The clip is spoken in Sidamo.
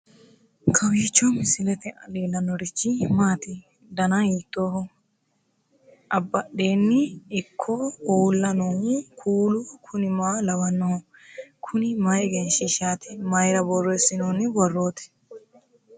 kowiicho misilete leellanorichi maati ? dana hiittooho ?abadhhenni ikko uulla noohu kuulu kuni maa lawannoho? kuni mayi egenshshiihshsaati mayra borreessinoonni borrooti